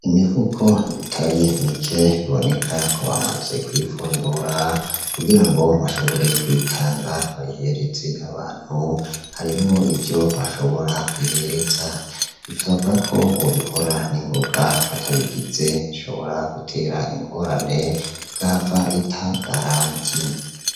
Imifuko itari mike iboneka ko bamaze kuyifundura kugirango bashobore kuyitanga bayihereze abantu harimwo ivyo bashobora kwihereza bikavugakwo bo bikora n'ingoga batabigize bishobora gutera ingorana igahava itagaranti.